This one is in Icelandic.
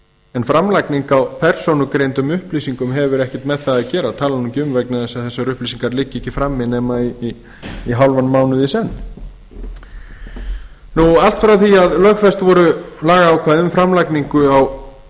en framlagning á persónugreindum upplýsingum hefur ekkert með það að gera ég tala nú ekki um vegna þess að þessar upplýsingar liggja ekki frammi nema í hálfan mánuð í senn allt frá því að lögfest voru lagaákvæði um framlagningu á